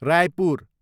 Raipur